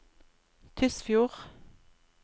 Tysfjord